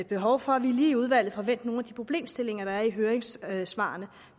behov for at vi lige i udvalget får vendt nogle af de problemstillinger der er i høringssvarene